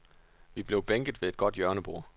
Vi blev bænket ved et godt hjørnebord.